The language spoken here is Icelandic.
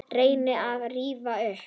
Reyni að rifja upp.